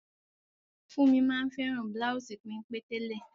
Funmi ma n fẹ́ràn bláùsì pénpé tẹ́lẹ̀.